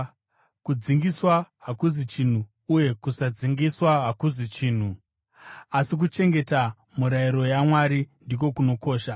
Kudzingiswa hakuzi chinhu uye kusadzingiswa hakuzi chinhu. Asi kuchengeta mirayiro yaMwari ndiko kunokosha.